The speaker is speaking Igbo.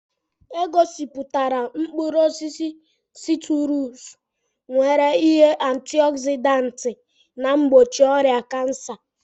E gosiputara mkpụrụ osisi siitrusu nwere ihe antịogzịdaantị na mgbochi ọrịa kansa.